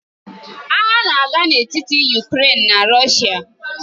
Agha na-aga n'etiti Ukrèịnian na Rọshia.